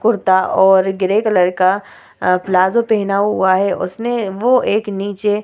कुरता और grey colour का palazzo पहना हुआ है उसने वो एक नीचे --